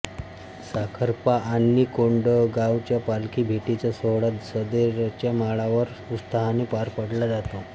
साखरपा आणि कोंडगावच्या पालखी भेटीचा सोहळा सदरेच्या माळावर उत्साहाने पार पडला जातो